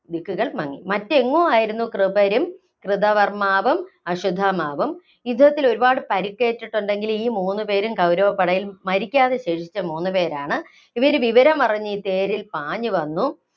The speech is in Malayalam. ദിക്കുകള്‍ മങ്ങി. മറ്റെങ്ങോ ആയിരുന്നു കൃപരും, കൃതകര്‍മ്മാവും, അശ്വത്ഥമാവും. യുദ്ധത്തില്‍ ഒരുപാട് പരുക്കേറ്റിട്ടുണ്ടെങ്കിലും ഈ മൂന്നുപേരും കൗരവപ്പടയില്‍ മരിക്കാതെ ശേഷിച്ച മൂന്നുപേരാണ്. ഇവര് വിവരമറിഞ്ഞു തേരില്‍ പാഞ്ഞു വന്നു.